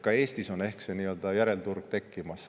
Ka Eestis on ehk see järelturg tekkimas.